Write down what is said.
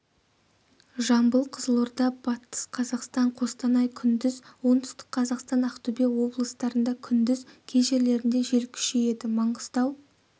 жамбыл қызылорда батыс қазақстан қостанай күндіз оңтүстік қазақстан ақтөбе облыстарында күндіз кей жерлерінде жел күшейеді маңғыстау